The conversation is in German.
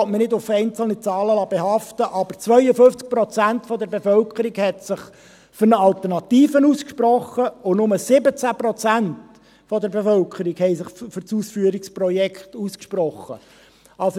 ich will mich nicht auf einzelnen Zahlen behaften lassen – zeigte, dass sich 52 Prozent der Bevölkerung für eine Alternative und nur 17 Prozent der Bevölkerung für das Ausführungsprojekt ausgesprochen hatten.